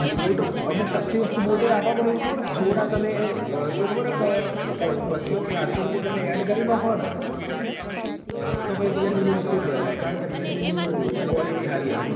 boat અમુક વસ્તું સસ્તું બોટ એ આપહ એવું ખબર હ થોડા સમય શું ખબરહ બાશો ચારસો રૂપિયા add કરી નાખોન તો પાહી realme વસ્તુ ની જ વસ્તુ લેવરાય કારણ ક realme નું quality હારી આવ